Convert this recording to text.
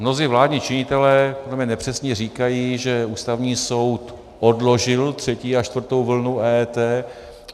Mnozí vládní činitelé nepřesně říkají, že Ústavní soud odložil třetí a čtvrtou vlnu EET.